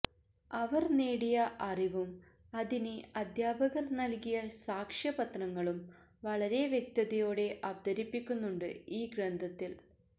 അവര് നേടിയ അറിവും അതിന് അധ്യാപകര് നല്കിയ സാക്ഷ്യപത്രങ്ങളും വളരെ വ്യക്തതയോടെ അവതരിപ്പിക്കുന്നുണ്ട് ഈ ഗ്രന്ഥത്തില്